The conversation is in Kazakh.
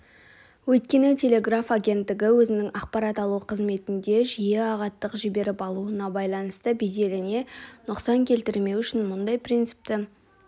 өйткені телеграф агенттігі өзінің ақпарат алу қызметінде жиі ағаттық жіберіп алуына байланысты беделіне нұқсан келтірмеу үшін мұндай принципті